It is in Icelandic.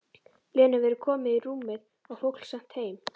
Lenu verið komið í rúmið og fólk sent heim.